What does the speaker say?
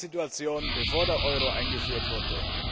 Wie war denn die Situation, bevor der Euro eingeführt wurde?